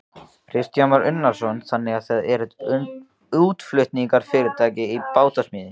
Kristján Már Unnarsson: Þannig að þið eruð útflutningsfyrirtæki í bátasmíði?